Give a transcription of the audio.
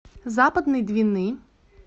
западной двины